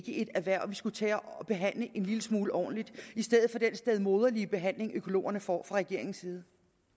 et erhverv vi skulle tage at behandle en lille smule ordentligt i stedet for den stedmoderlige behandling økologerne får fra regeringens side